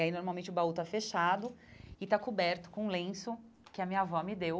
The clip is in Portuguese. E aí, normalmente, o baú tá fechado e está coberto com um lenço que a minha avó me deu.